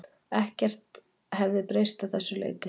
Ekkert hefði breyst að þessu leyti